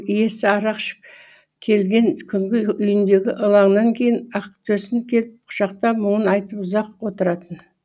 иесі арақ ішіп келген күнгі үйіндегі ылаңнан кейін ақтөсін келіп құшақтап мұңын айтып ұзақ отыратын